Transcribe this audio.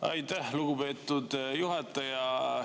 Aitäh, lugupeetud juhataja!